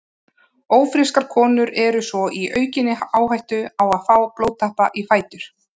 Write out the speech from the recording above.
Ófrískar konur eru svo í aukinni áhættu á að fá blóðtappa í fætur.